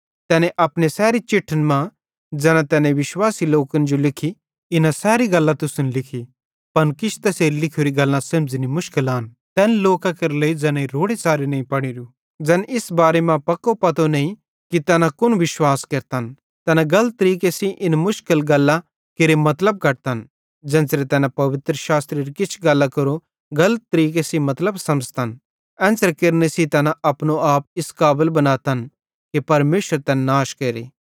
तैने अपने सैरी चिट्ठन मां ज़ैना तैने विश्वासी लोकन जो लिखी इना सैरी गल्लां तुसन लिखी पन किछ तैसेरी लिखोरी गल्लां समझ़नी मुश्किल आन तैन लोकां केरे लेइ ज़ैनेईं रोड़े च़ारे नईं पढ़ोरू ज़ैन इस बारे मां पक्को पतो नईं कि तैना कुन विश्वास केरतन तैना गलत तरीके सेइं इन मुश्किल गल्लां केरे मतलब कढतन ज़ेन्च़रे तैना पवित्रशास्त्रेरी किछ गल्लां केरो गलत तरीके मतलब समझ़ातन एन्च़रे केरने सेइं तैना अपनो आप इस काबल बनातन कि परमेशर तैन नाश केरे